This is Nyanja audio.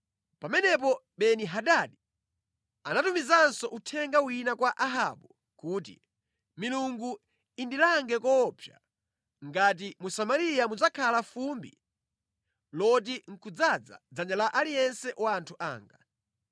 Pamenepo Beni-Hadadi anatumizanso uthenga wina kwa Ahabu kuti, “Milungu indilange koopsa, ngati mu Samariya mudzakhale fumbi loti nʼkudzaza dzanja la aliyense wa anthu anga.”